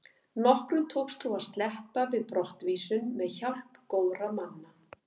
Nokkrum tókst þó að sleppa við brottvísun með hjálp góðra manna.